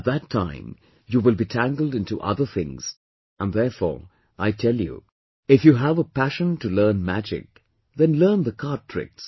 At that time you will be tangled into other things and therefore I tell you if you have a passion to learn magic then learn the card tricks